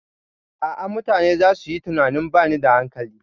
A'a, mutane zasu yi tunanin bani da hankali.